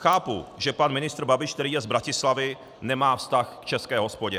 Chápu, že pan ministr Babiš, který je z Bratislavy, nemá vztah k české hospodě.